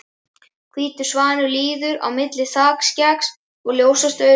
Hvítur svanur líður á milli þakskeggs og ljósastaurs.